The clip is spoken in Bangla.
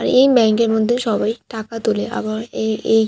এই ব্যাঙ্ক এর মধ্যে সবাই টাকা তোলে আবার এ-এই।